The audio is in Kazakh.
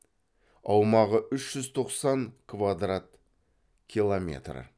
аумағы үш жүз тоқсан квадрат километр